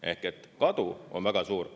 Ehk kadu on väga suur.